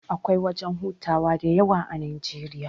Akwai wajan hutawa da yawa a Najeriya